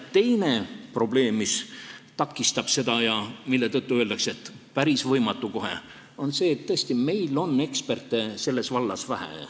Teine probleem, mis seda takistab ja mille tõttu öeldakse, et see on kohe päris võimatu, on see, et meil on eksperte selles vallas tõesti vähe.